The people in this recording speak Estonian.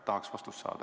Tahaks vastust saada.